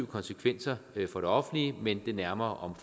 konsekvenser for det offentlige men det nærmere